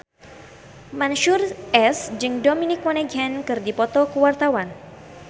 Mansyur S jeung Dominic Monaghan keur dipoto ku wartawan